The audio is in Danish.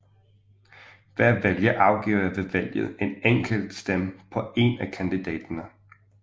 Hver vælger afgiver ved valget en enkelt stemme på en af kandidaterne